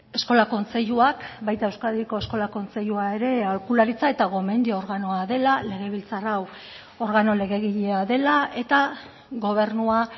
eskola kontseiluak baita euskadiko eskola kontseilua ere aholkularitza eta gomendio organoa dela legebiltzar hau organo legegilea dela eta gobernua